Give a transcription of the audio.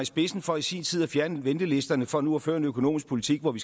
spidsen for i sin tid at fjerne ventelisterne for nu at føre en økonomisk politik hvor vi